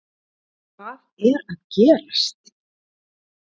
Hvað er að gerast???